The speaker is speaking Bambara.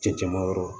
Cɛncɛnmayɔrɔ